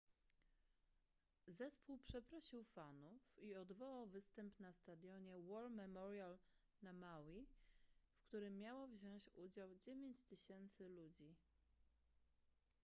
zespół przeprosił fanów i odwołał występ na stadionie war memorial na maui w którym miało wziąć udział 9000 ludzi